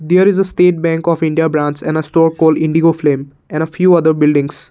here is a state bank of india branch and a store coal indigo flame and a few other buildings.